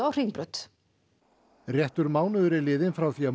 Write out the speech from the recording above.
Hringbraut réttur mánuður er liðinn frá því að